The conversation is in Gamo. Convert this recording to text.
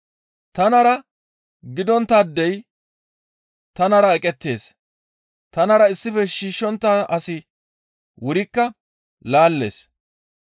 «Tanara gidonttaadey tanara eqettees; tanara issife shiishshontta asi wurikka laallees.